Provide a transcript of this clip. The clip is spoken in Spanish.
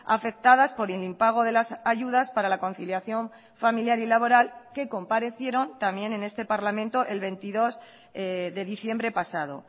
afectadas por el impago de las ayudas para la conciliación familiar y laboral que comparecieron también en este parlamento el veintidós de diciembre pasado